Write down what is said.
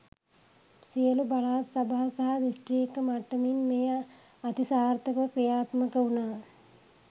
සියලු පළාත් සභා සහ දිස්ත්‍රික්ක මට්ටමින් මෙය අතිසාර්ථක ව ක්‍රියාත්මක වුණා.